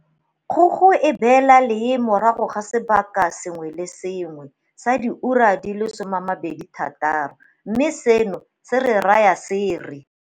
Kgogo e beela lee morago ga sebaka se sengwe le se sengwe sa diura di le 26, mme seno se re raya se re.